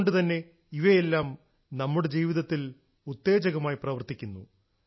അതുകൊണ്ടുതന്നെ ഇവയെല്ലാം നമ്മുടെ ജീവിതത്തിൽ ഉത്തേജകമായി പ്രവർത്തിക്കുന്നു